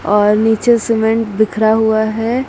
और नीचे सीमेंट बिखरा हुआ है।